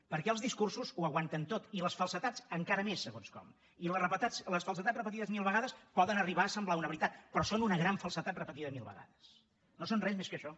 perquè els discursos ho aguanten tot i les falsedats encara més segons com i les falsedats repetides mil vegades poden arribar a semblar una veritat però són una gran falsedat repetida mil vegades no són res més que això